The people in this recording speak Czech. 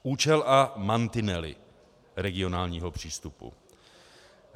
Účel a mantinely regionálního přístupu.